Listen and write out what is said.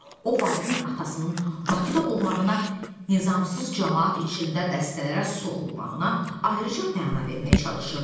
O Vahidin atasının Bakıda olmağına nizamsız camaat içində dəstələrə soxulmağına ayrıca məna verməyə çalışırdı.